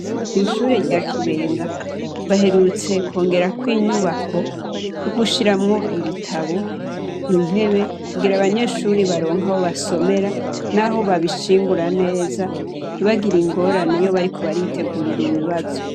Ishure rya Kibenga baherutse kwongerako inyubako, yogushiramwo ibitabo, intebe kugira abanyeshure baronke aho basomera n'aho babishingura neza ntibagire ingorane iyo bariko baritegurira ibibazo.